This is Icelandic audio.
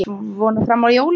Svona fram að jólum.